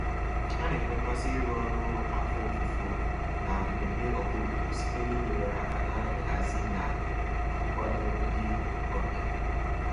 Ha na-enwe mmasị iru ọrụ afọ ofufo na mmemme ọhaobodo site n'inyere aka na nhazi na nkwado ndị ọbịa.